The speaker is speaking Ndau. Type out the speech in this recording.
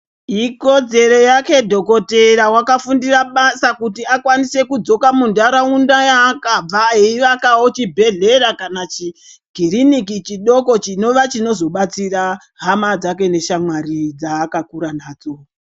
Ikodzero yake dhokotera vakafundira basa kuti akwanise kudzoka muntaraunda yaakabva. Eivakavo chibhedhlera kana chikiriniki chidoko chinova chinozobatsira hama dzake neshamwari dzaakakura nadzo.